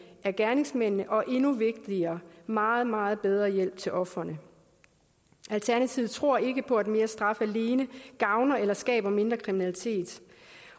af gerningsmændene og endnu vigtigere meget meget bedre hjælp til ofrene alternativet tror ikke på at mere straf alene gavner eller skaber mindre kriminalitet